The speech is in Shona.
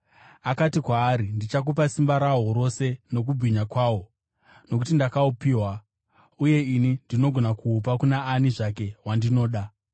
Akati kwaari, “Ndichakupa simba rahwo rose nokubwinya kwahwo, nokuti ndakahupiwa, uye ini ndinogona kuhupa kuna ani zvake wandinoda.